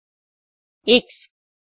atomic mass V S fusion temperature